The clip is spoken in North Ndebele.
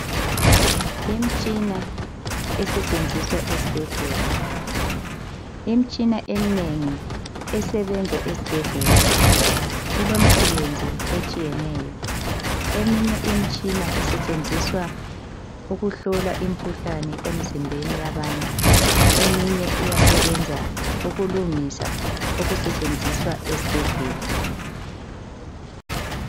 Imtshina esetshenziswa esibhedlela. Imitshina eminengi esetshenziswa esibhedlela ilemisebenzi etshiyeneyo. Eminye isitshenziswa ukuhlola imikhuhlane emzimbeni yabantu. Eminye iyasebenza ukulungisa okusetshenziswa esibhedlela.